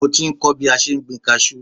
Mo ti ń kọ́ bí a ṣe ń gbin kaṣú